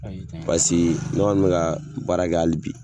Pase ne kɔni mɛka baara kɛ hali bi.